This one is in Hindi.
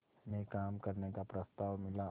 में काम करने का प्रस्ताव मिला